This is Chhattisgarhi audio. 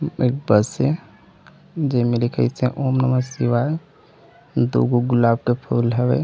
एक बस हे जे मे लिखाइसे ॐ नमः शिवाय दु गो गुलाब के फूल हवय।